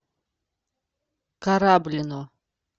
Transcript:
кораблино